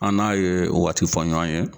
An n'a ye waati fɔ ɲɔgɔn ye.